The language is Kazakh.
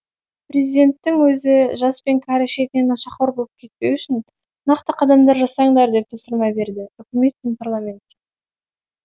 президенттің өзі жас пен кәрі шетінен нашақор боп кетпеу үшін нақты қадамдар жасаңдар деп тапсырма берді үкімет пен парламентке